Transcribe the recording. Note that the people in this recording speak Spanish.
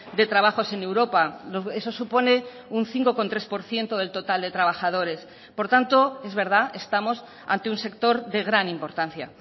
de trabajos en europa eso supone un cinco coma tres por ciento del total de trabajadores por tanto es verdad estamos ante un sector de gran importancia